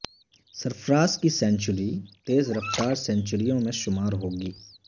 سرفراز کی سنچری تیز رفتار سنچریوں میں شمار ہو گی